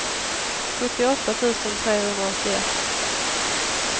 sjuttioåtta tusen trehundraåttioett